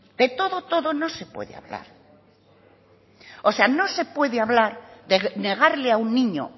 de todo no se puede hablar o sea no se puede hablar de negarle a un niño